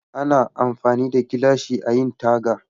Ana amfani da gilashi ayi taga